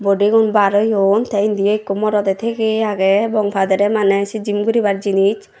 body gun bar oyoun tey endi ekku morodey tigey agey obangpade manay say gym goribar jinish.